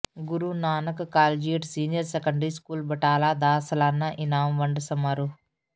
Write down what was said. ਗੁਰੂ Nanak collegiate senior secondary school Batala ਦਾ ਸਾਲਾਨਾ ਇਨਾਮ ਵੰਡ ਸਮਾਰੋਹ